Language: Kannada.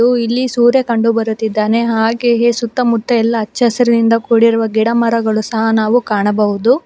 ಹಾಗು ಇಲ್ಲಿ ಸೂರ್ಯ ಕಂಡು ಬರುತ್ತಿದ್ದಾನೆ ಹಾಗೆಯೇ ಸುತ್ತಮುತ್ತ ಎಲ್ಲಾ ಹಚ್ಚ ಹಸಿರಿನಿಂದ ಕೂಡಿರುವ ಗಿಡಮರಗಳು ಸಹ ನಾವು ಕಾಣಬಹುದು.